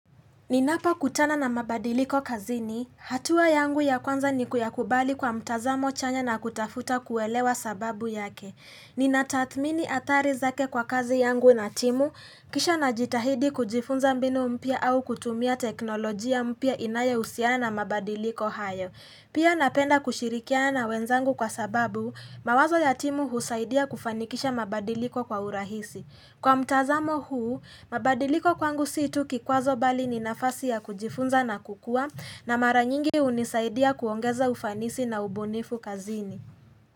Ninapokutana na mabadiliko kazini, hatua yangu ya kwanza ni kuyakubali kwa mtazamo chanya na kutafuta kuelewa sababu yake. Ninatathmini athari zake kwa kazi yangu na timu, kisha najitahidi kujifunza mbinu mpya au kutumia teknolojia mpya inayohusiana na mabadiliko haya. Pia napenda kushirikiana na wenzangu kwa sababu, mawazo ya timu husaidia kufanikisha mabadiliko kwa urahisi. Kwa mtazamo huu, mabadiliko kwangu si tu kikwazo bali ni nafasi ya kujifunza na kukua na mara nyingi hunisaidia kuongeza ufanisi na ubunifu kazini.